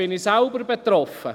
Da bin ich selbst betroffen.